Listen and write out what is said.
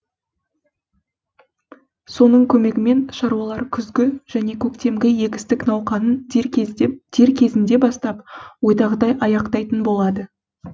соның көмегімен шаруалар күзгі және көктемгі егістік науқанын дер кезінде бастап ойдағыдай аяқтайтын болады